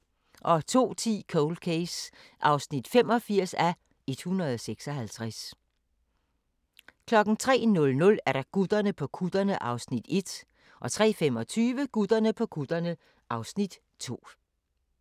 02:10: Cold Case (85:156) 03:00: Gutterne på kutterne (Afs. 1) 03:25: Gutterne på kutterne (Afs. 2)